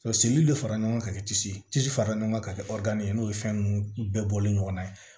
sen de fara ɲɔgɔn kan ka kɛ tisi tisi fara ɲɔgɔn kan ka kɛ ye n'o ye fɛn ninnu bɛɛ bɔlen ɲɔgɔnna ye